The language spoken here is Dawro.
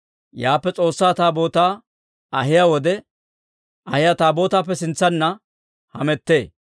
Yaappe S'oossaa Taabootaa ahiyaa wode, Ahiyo Taabootaappe sintsanna hamettee.